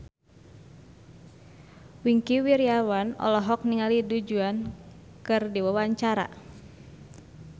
Wingky Wiryawan olohok ningali Du Juan keur diwawancara